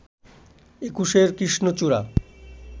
একুশের কৃষ্ণচূড়া